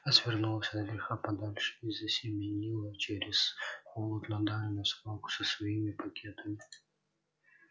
развернулась от греха подальше и засеменила через холод на дальнюю свалку со своими пакетами